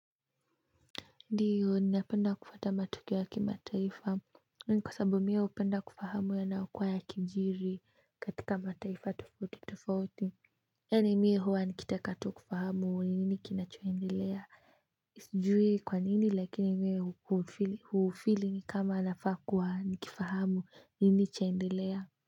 Ndio napenda kufuata matukio ya kimataifa hiyo ni kwa sababu mimi hupenda kufahamu yanayokuwa yakijiri katika mataifa tofauti tofauti yaani mimi huwa nikitaka tu kufahamu ni nini kinacho endelea sijui kwanini lakini mimi huufili ni kama nafaa kuwa nikifahamu nini chaendelea.